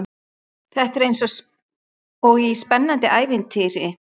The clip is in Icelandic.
Þetta er eins og í spennandi ævintýri.